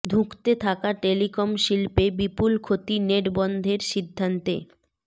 ধুঁকতে থাকা টেলিকম শিল্পে বিপুল ক্ষতি নেট বন্ধের সিদ্ধান্তে